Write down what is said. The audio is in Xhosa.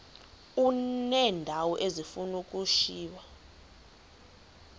uneendawo ezifuna ukushiywa